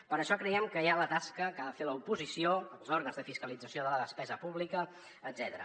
per això creiem que hi ha la tasca que ha de fer l’oposició els òrgans de fiscalització de la despesa pública etcètera